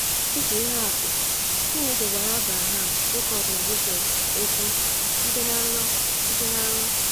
Dị ka ihe atụ, Chineke gwara Abraham, Jekọb, na Josef okwu site na nrọ. site na nrọ.